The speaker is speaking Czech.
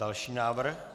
Další návrh.